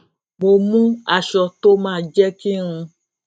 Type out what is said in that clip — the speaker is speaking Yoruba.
mo mú aṣọ tó ma jẹ kí n